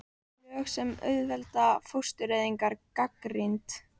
Lög sem auðvelda fóstureyðingar gagnrýnd